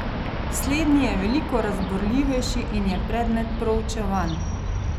Slednji je veliko razburljivejši in je predmet proučevanj.